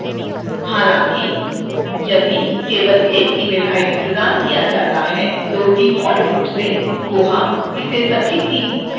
हालांकि यदि केवल एक email id प्रदान किया जाता है तो default रूप से koha इसे सभी तीन fields के लिए उपयोग करेगा